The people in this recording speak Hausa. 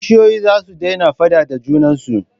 Kishiyoyi za su daina faaɗa da junan su.